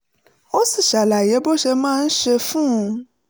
ó sì ṣàlàyé bó ṣe máa ń ṣe é fún un